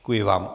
Děkuji vám.